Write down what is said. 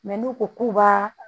n'u ko k'u b'a